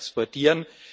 exportieren.